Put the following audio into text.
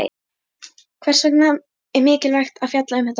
Hvers vegna er mikilvægt að fjalla um þetta mál?